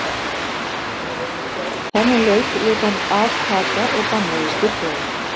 Þennan leik lét hann af taka og bannaði styrklega.